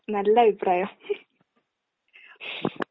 നല്ലഭിപ്രായം.